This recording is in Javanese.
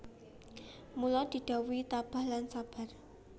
Mula didhawuhi tabah lan sabar